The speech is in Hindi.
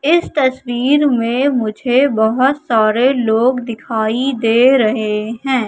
इस तस्वीर में मुझे बहोत सारे लोग दिखाई दे रहे हैं।